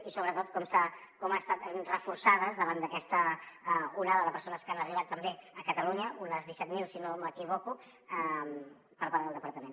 i sobretot com han estat reforçades davant d’aquesta onada de persones que han arribat també a catalunya unes disset mil si no m’equivoco per part del departament